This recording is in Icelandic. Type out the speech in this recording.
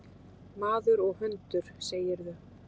Maður og hundur, segirðu?